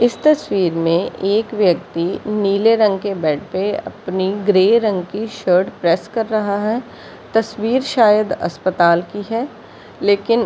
इस तस्वीर में एक व्यक्ति नीले रंग के बेड पे अपनी ग्रे रंग की शर्ट प्रेस कर रहा है तस्वीर शायद अस्पताल की है लेकिन --